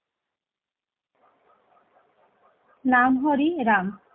নাম হরি রাম